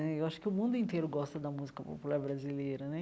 Eu acho que o mundo inteiro gosta da música popular brasileira né.